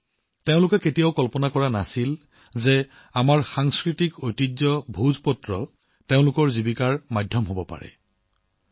তেওঁলোকে লিখিছে যে তেওঁলোকে কেতিয়াও কল্পনা কৰা নাছিল যে আমাৰ সাংস্কৃতিক ঐতিহ্য ভোজপাত্ৰ তেওঁলোকৰ জীৱিকাৰ মাধ্যম হব পাৰে